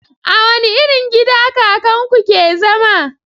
A wani irin gida kakan ku ke zama?